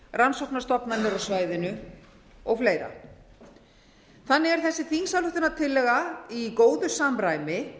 rannsóknastofnanir á svæðinu og fleiri þannig er þessi þingsályktunartillaga í góðu samræmi